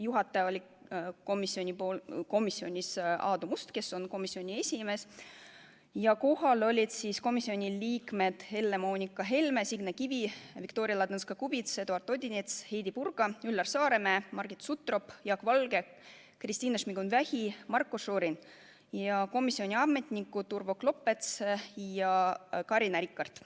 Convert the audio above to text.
Juhataja oli Aadu Must, kes on komisjoni esimees, ja kohal olid komisjoni liikmed Helle-Moonika Helme, Signe Kivi, Viktoria Ladõnskaja-Kubits, Eduard Odinets, Heidy Purga, Üllar Saaremäe, Margit Sutrop, Jaak Valge, Kristina Šmigun-Vähi, Marko Šorin ja komisjoni ametnikud Urvo Klopets ja Carina Rikart.